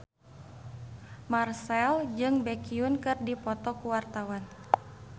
Marchell jeung Baekhyun keur dipoto ku wartawan